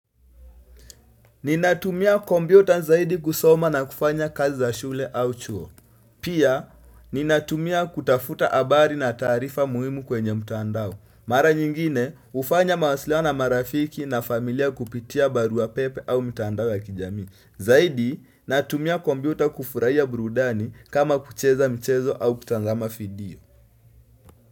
Ninatumia kompyuta zaidi kusoma na kufanya kazi za shule au chuo. Pia, ninatumia kutafuta habari na taarifa muhimu kwenye mtandao. Mara nyingine, hufanya mawasiliano na marafiki na familia kupitia barua pepe au mitandao ya kijami. Zaidi, natumia kompyuta kufurahia burudani kama kucheza mchezo au kutazama video.